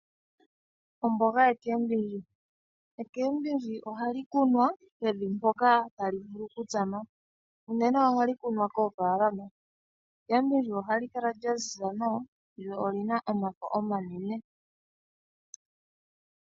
Omboga yuushimba ohayi kunwa pevi mpoka tayi vulu okutsama. Unene ohali kunwa koofala, ohali kala lyaziza nawa lyo olyina omafo omanene.